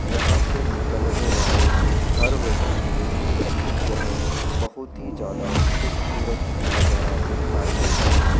यहां से निकलने वाले हर व्यक्ति के लिए यह बहुत ही ज्यादा खूबसूरत नजारा दिखाई देता है।